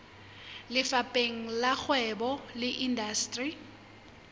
lefapheng la kgwebo le indasteri